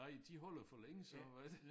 Nej de holder for længe så er det